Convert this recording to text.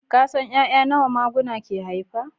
Ka san 'ya'ya nawa maguna ke haifa